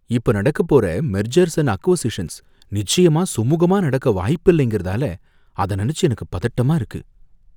இப்போ நடக்கப்போற mergers and acquisitions நிச்சயமா சுமுகமா நடக்க வாய்ப்பில்லைங்றதால அத நனைச்சி எனக்கு பதட்டமா இருக்கு.